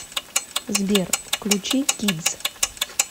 сбер включи кидс